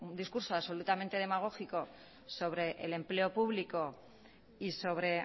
discurso absolutamente demagógico sobre el empleo público y sobre